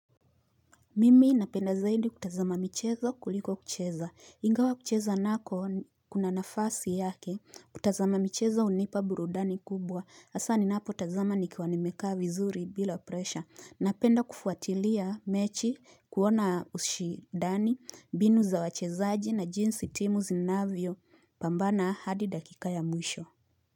Mimi napenda zaidi kutazama michezo kuliko kucheza ingawa kucheza nako kuna nafasi yake kutazama michezo hunipa burudani kubwa hasaa ninapotazama nikiwa nimekaa vizuri bila pressure Napenda kufuatilia mechi kuona ushindani mbinu za wachezaji na jinsi timu zinavyopambana hadi dakika ya mwisho.